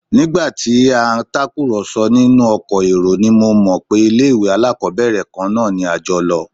Nígbà tí à ń tàkùrọ̀sọ nínú ọkọ̀ èrò ni mo mọ̀ pé ilé-ìwé alákọ́bẹ̀rẹ̀ kan náà ni a jọ lọ